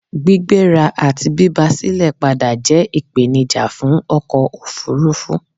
Gbígbéra àti bíba silẹ̀ padà jẹ́ ìpènijà fún ọkò òfurufú